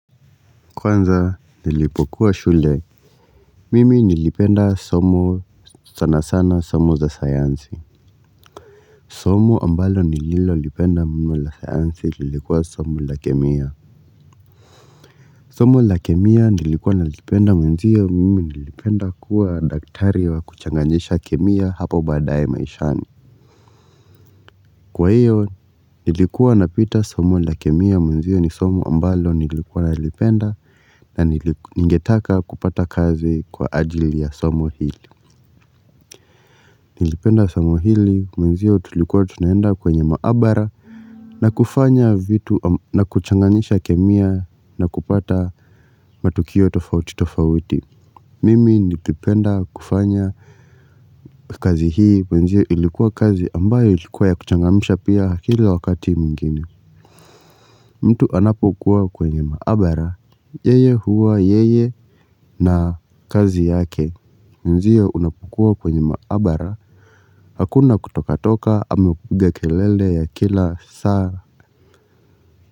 Kwanza nilipokuwa shule mimi nilipenda somo sana sana somo za sayansi. Somo ambalo nililo lipenda mo la sayansi, nilikuwa somo la kemia. Somo la kemia nilikuwa nalipenda mwenzio, mimi nilipenda kuwa daktari wa kuchanganjisha kemia hapo badaye maishani. Kwa hiyo, nilikuwa napita somo la kemia mwenzio ni somo ambalo nilikuwa nalipenda na ningetaka kupata kazi kwa ajili ya somo hili. Nilipenda somo hili mwenzio tulikuwa tunaenda kwenye maabara na kufanya vitu na kuchanganyisha kemia na kupata matukio tofauti tofauti mimi nilipenda kufanya kazi hii mwenzio ilikuwa kazi ambayo ilikuwa ya kuchangamsha pia kila wakati mwingine mtu anapokuwa kwenye maabara yeye huwa yeye na kazi yake mwenzio unapokuwa kwenye maabara hakuna kutoka toka ama kupiga kelele ya kila saa.